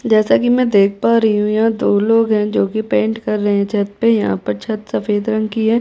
जैसा की मै देख पा रही हूँ यहाँ दो लोग है जो की पेंट कर रहे है छतपे यहाँ पर छत सफ़ेद रंग की है।